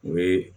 U bɛ